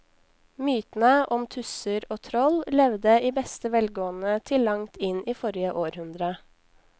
Mytene om tusser og troll levde i beste velgående til langt inn i forrige århundre.